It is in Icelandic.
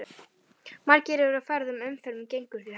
Margir eru á ferð og umferðin gengur því hægt.